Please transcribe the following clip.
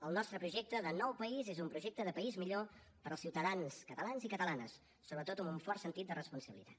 el nostre projecte de nou país és un projecte de país millor per als ciutadans catalans i catalanes sobretot amb un fort sentit de responsabilitat